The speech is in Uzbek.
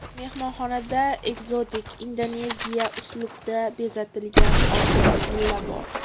Mehmonxonada ekzotik indoneziyacha uslubda bezatilgan oltita villa bor.